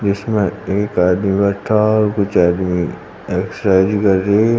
इसमें एक आदमी बैठा हुआ और कुछ आदमी एक शायरी कर रहे हैं।